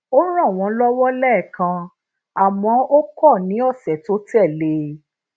ó ràn wón lówó léèkan àmó ó ko ní osè tó tè lé e